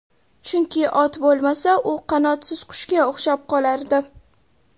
Chunki, ot bo‘lmasa, u qanotsiz qushga o‘xshab qolardi.